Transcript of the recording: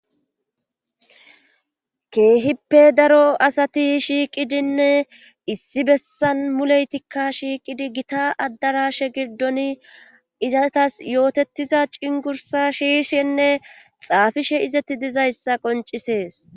Keehippe daro asati shiiqidinne issi bessan muleytikka shiiqidi gita addarashe giddon izatas yootettiza ceengursa siiyishenne xaafishe izetti diza issa qoncisees.